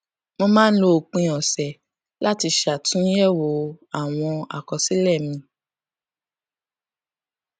mo máa ń lo òpin òsè láti ṣàtúnyèwò àwọn àkọsílè mi